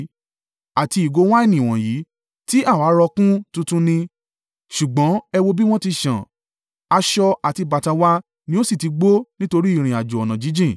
Àti ìgò wáìnì wọ̀nyí, tí àwa rọ kún tuntun ni, ṣùgbọ́n ẹ wò ó bí wọ́n ti sán. Aṣọ àti bàtà wa ni ó sì ti gbó nítorí ìrìnàjò ọ̀nà jíjìn.”